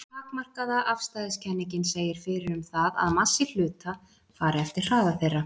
Takmarkaða afstæðiskenningin segir fyrir um það að massi hluta fari eftir hraða þeirra.